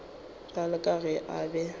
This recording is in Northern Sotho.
bjalo ka ge a be